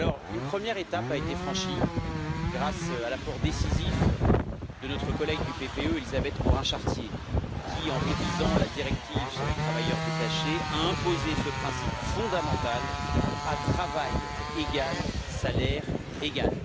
Une première étape a ainsi été franchie grâce à l'apport décisif de notre collègue du PPE, Élisabeth Morin Chartier qui, en révisant la directive sur les travailleurs détachés, a imposé ce principe fondamental à travail égal, salaire égal.